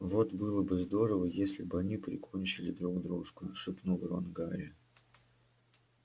вот было бы здорово если бы они прикончили друг дружку шепнул рон гарри